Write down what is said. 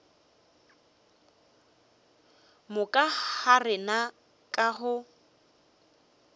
moka ga rena ka go